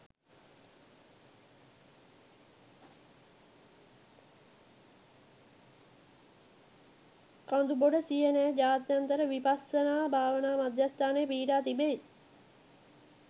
කඳුබොඩ සියනෑ ජාත්‍යන්තර විපස්සනා භාවනා මධ්‍යස්ථානය පිහිටා තිබෙයි.